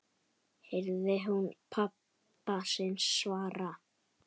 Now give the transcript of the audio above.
heyrði hún pabba sinn svara.